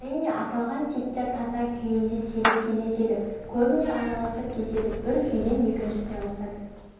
әрине аталған типтер таза күйінде сирек кездеседі көбіне араласып кетеді бір күйден екіншісіне ауысады